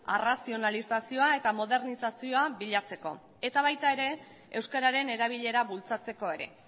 arrazionalizazioa eta modernizazioa bilatzeko eta baita ere euskararen erabilera bultzatzeko ere